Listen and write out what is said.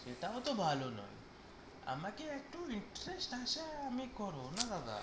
সেটা হয়তো ভালো নয় আমাকে একটা interest আছে আমি করো না দাদা